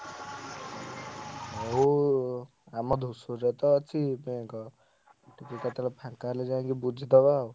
ହଉ ଆମ ଧୂସୁରୀରେ ତ ଅଛି ମୁଁ କେତବେଳେ ଫାଙ୍କା ହେଲେ ଯାଇକି ବୁଝିଦବା।